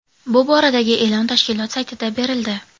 Bu boradagi e’lon tashkilot saytida berildi .